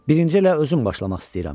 Birinci elə özüm başlamaq istəyirəm.